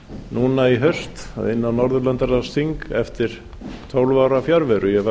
núna í haust inn á norðurlandaþing eftir tólf ára fjarveru ég var